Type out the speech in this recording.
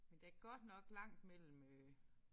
Men der godt nok langt mellem øh